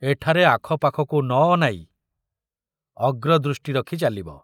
ଏଠାରେ ଆଖପାଖକୁ ନ ଅନାଇ ଅଗ୍ରଦୃଷ୍ଟି ରଖି ଚାଲିବ।